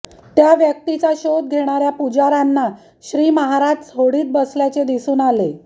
त्या व्यक्तीचा शोध घेणाऱ्या पुजाऱ्यांना श्रीमहाराज होडीत बसल्याचे दिसून आले